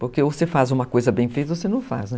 Porque ou você faz uma coisa bem feita ou você não faz, né?